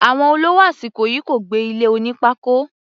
Àwọn olówó àsìkò yìí kò gbé ilé oní pákó.